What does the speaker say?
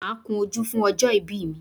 Máa kun ojú mi fún ọjọ́ ìbí mi.